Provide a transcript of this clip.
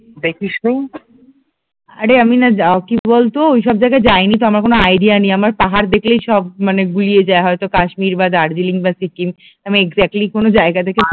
আরে আমি না কি বলতো ওইসব জায়গায় যাইনি তো আমার কোনো আইডিয়া নেই, আমার পাহাড় দেখলেই সব মানে গুলিয়ে যায়, হয়তো কাশ্মীর বা দার্জিলিং বা সিকিম, আমি এক্সাক্টলি কোনো জায়গা দেখ